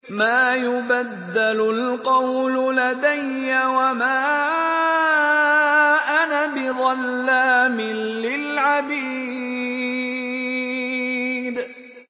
مَا يُبَدَّلُ الْقَوْلُ لَدَيَّ وَمَا أَنَا بِظَلَّامٍ لِّلْعَبِيدِ